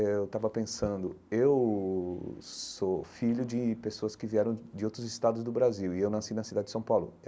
Eh eu estava pensando, eu sou filho de pessoas que vieram de outros estados do Brasil e eu nasci na cidade de São Paulo.